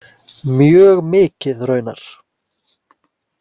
Mjög mikið raunar.